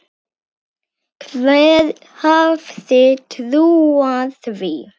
Hver hefði trúað því.